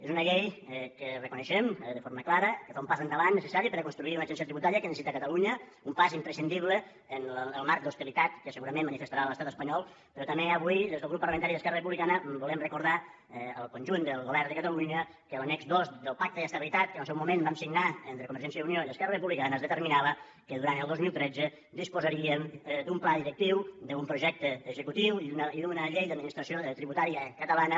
és una llei que reconeixem de forma clara que fa un pas endavant necessari per a construir una agència tributària que necessita catalunya un pas imprescindible en el marc d’hostilitat que segurament manifestarà l’estat espanyol però també avui des del grup parlamentari d’esquerra republicana volem recordar al conjunt del govern de catalunya que en l’annex dos del pacte d’estabilitat que en el seu moment vam signar entre convergència i unió i esquerra republicana es determinava que durant el dos mil tretze disposaríem d’un pla directiu d’un projecte executiu i d’una llei d’administració tributària catalana